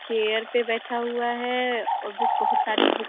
chair पे बैठा हुआ है और बुक बहुत सारी बुक --